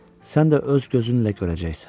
Sən də öz gözünlə görəcəksən.